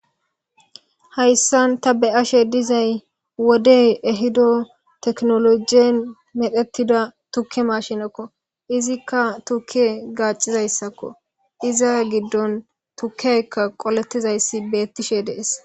Hayssan ta be ashe dizay wodey ehido teknolojiyen medhetida tukke mashinekko izikka tukke gaacizayssakko iza giddon tukkeykka qoletizayssi beettishe dees.